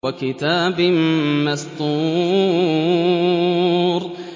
وَكِتَابٍ مَّسْطُورٍ